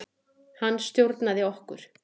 Hann stjórnaði okkur.